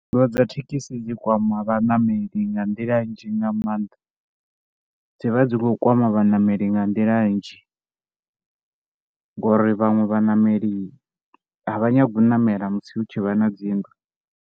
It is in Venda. Nndwa dza thekhisi dzi kwama vhaṋameli nga nḓila nnzhi nga maanḓa. Dzi vha dzi khou kwama vhaṋameli nga nḓila nnzhi ngori vhaṅwe vhaṋameli a vha nyagi u ṋamela musi hu tshi vha na dzi nndwa.